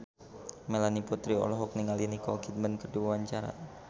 Melanie Putri olohok ningali Nicole Kidman keur diwawancara